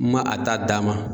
N man a ta d'a ma.